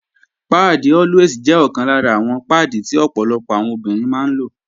Páàdì Always jẹ́ ọ̀kan lára àwọn páàdì tí ọ̀pọ̀lọpọ̀ àwọn obìnrin máa ń lò